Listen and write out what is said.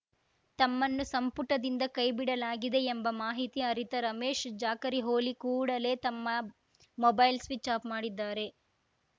ತಮ್ಮನ್ನು ಸಂಪುಟದಿಂದ ಕೈಬಿಡಲಾಗಿದೆ ಎಂಬ ಮಾಹಿತಿ ಅರಿತ ರಮೇಶ್ ಜಾಕರಿಹೊಳಿ ಕೂಡಲೇ ತಮ್ಮ ಮೊಬೈಲ್‌ ಸ್ವಿಚ್‌ ಆಫ್‌ ಮಾಡಿದ್ದಾರೆ